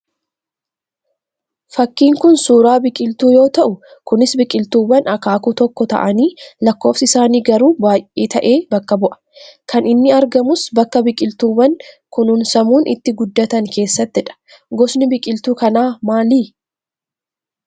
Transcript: Fakkiin kun suuraa biqiltuu yoo ta'uu Kunis biqiltuuwwan akaakuu tokkoo ta'anii lakkofsi isaanii garuu baayyee ta'e bakka bu'aa. Kan inni argamus bakka biqiltuuwwan kununsamuun itti guddatan keessatti dha. Gosni biqiltuu kanaa maalii?